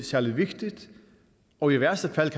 særlig vigtigt og i værste fald